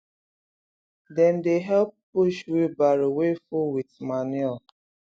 dem dey help push wheelbarrow wey full with manure